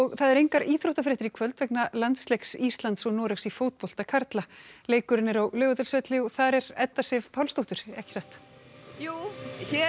það eru engar íþróttafréttir í kvöld vegna landsleiks Íslands og Noregs í fótbolta karla leikurinn er á Laugardalsvelli og þar er Edda Sif Pálsdóttir já hér